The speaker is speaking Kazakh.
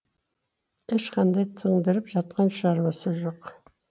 ешқандай тындырып жатқан шаруасы жоқ